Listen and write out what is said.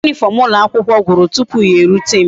Uwe uniform ulo akwukwo gwuru tupu ya e rute m